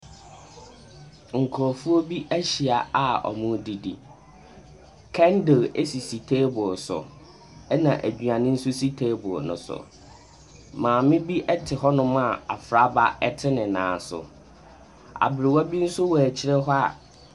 Nkurɔfoɔ bi ahyia a wɔredidi. Candle sisi table so, ɛna aduane nso si table no so. Maame bi te hɔnom a abfraba te ne nan so. Abrewa bi nso wɔ akyire hɔ a.